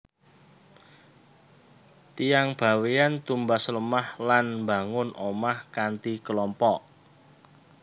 Tiyang Bawean tumbas lemah lan mbangun omah kanthi kelompok